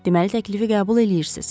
Deməli təklifi qəbul eləyirsiz.